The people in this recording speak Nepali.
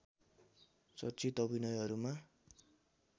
चर्चित अभिनयहरूमा